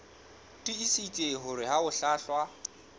tiisitse hore ha ho hlwahlwa